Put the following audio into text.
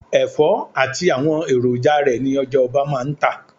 Ẹ̀fọ́ àti àwọn èròjà rẹ ni ọjà-ọba máa ń tà.